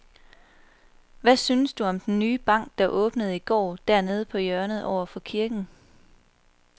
Hvad synes du om den nye bank, der åbnede i går dernede på hjørnet over for kirken?